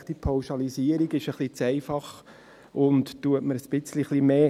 : Diese Pauschalisierung ist ein wenig zu einfach und tut mir etwas weh.